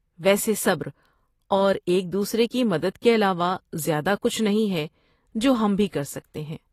ویسے صبر اور ایک دوسرے کی مدد کے علاوہ زیادہ کچھ نہیں ہے جو ہم بھی کر سکتے ۔